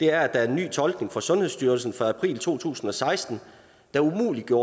er at der er en ny tolkning fra sundhedsstyrelsen fra april to tusind og seksten der umuliggør